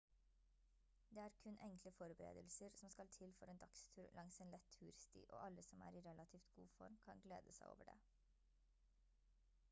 det er kun enkle forberedelser som skal til for en dagstur langs en lett tursti og alle som er i relativt god form kan glede seg over det